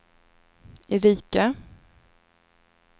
Erika